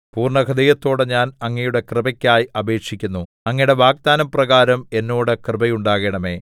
പൂർണ്ണഹൃദയത്തോടെ ഞാൻ അങ്ങയുടെ കൃപയ്ക്കായി അപേക്ഷിക്കുന്നു അങ്ങയുടെ വാഗ്ദാനപ്രകാരം എന്നോട് കൃപയുണ്ടാകണമേ